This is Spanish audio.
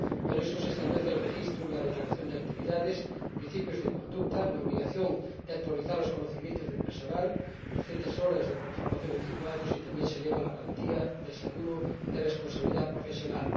Por eso, se establece el registro y la declaración de actividades, principios de conducta, la obligación de actualizar los conocimientos del personal 200 horas de formación en cinco años y también se eleva la cuantía del seguro de responsabilidad profesional.